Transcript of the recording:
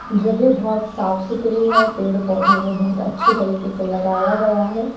जगह बहोत साफ सुथरी है पेड़ पौधों को बहुत अच्छी तरीके से लगाया गया है।